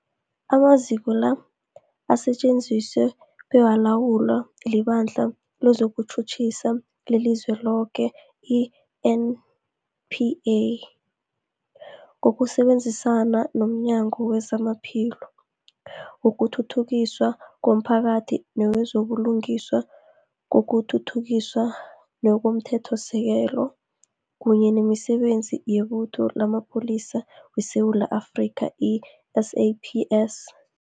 Amaziko la asetjenziswa bekalawulwa liBandla lezokuTjhutjhisa leliZweloke, i-NPA, ngokusebenzisana nomnyango wezamaPhilo, wokuthuthukiswa komphakathi newezo buLungiswa nokuThuthukiswa komThethosisekelo, kunye nemiSebenzi yeButho lamaPholisa weSewula Afrika, i-SAPS.